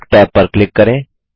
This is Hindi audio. वर्क टैब पर क्लिक करें